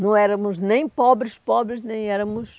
Não éramos nem pobres, pobres nem éramos...